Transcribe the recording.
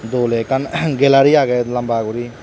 aye hulay ekkan galery agey lamba gori.